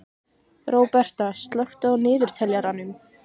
Róberta, slökktu á niðurteljaranum.